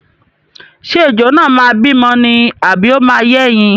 Ṣé ejò náà máa bímọ ni àbí ó máa yé ẹyin?